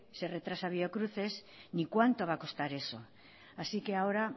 se retrasa biocruces ni cuánto va a costar eso así que ahora